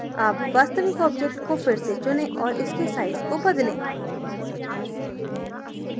अब वास्तविक object को फिर से चुनें और इसके size को बदलें